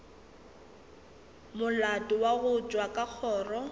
molato wa tšwa ka kgoro